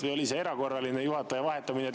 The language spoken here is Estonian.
Või oli see erakorraline juhataja vahetamine?